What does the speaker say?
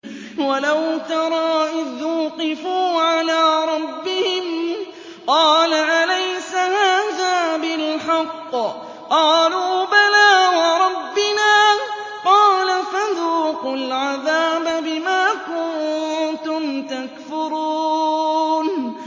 وَلَوْ تَرَىٰ إِذْ وُقِفُوا عَلَىٰ رَبِّهِمْ ۚ قَالَ أَلَيْسَ هَٰذَا بِالْحَقِّ ۚ قَالُوا بَلَىٰ وَرَبِّنَا ۚ قَالَ فَذُوقُوا الْعَذَابَ بِمَا كُنتُمْ تَكْفُرُونَ